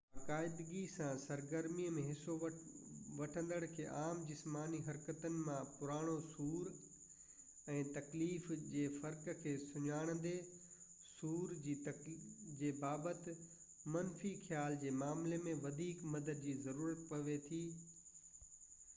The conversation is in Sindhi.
باقاعدگي سان سرگرمي ۾ حصو وٺندڙن کي عام جسماني حرڪتن مان پراڻو سور ۽ تڪليف جي فرق کي سڃاڻيندي سور جي بابت منفي خيال جي معاملي ۾ وڌيڪ مدد جي ضرورت پوي ٿي